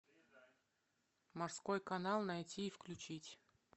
морской канал найти и включить